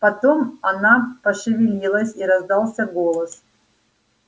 потом она пошевелилась и раздался голос